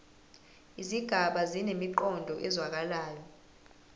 izigaba zinemiqondo ezwakalayo